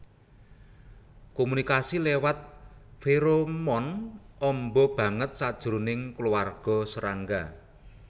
Komunikasi lewat feromon amba banget sajroné kulawarga serangga